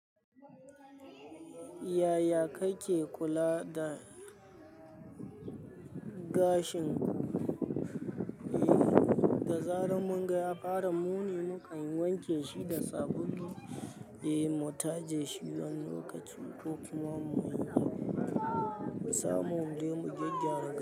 Yaya kake kula da gashin. Da zaran mun ga ya fara muni, mukan wanke shi da sabulu, mu taje shi wani lokaci ko kuma mu yi irin mu samu dai mu gyaggyara.